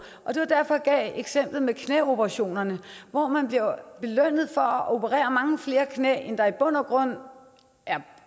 det var derfor jeg gav eksemplet med knæoperationerne hvor man bliver belønnet for at operere mange flere knæ end der i bund og grund er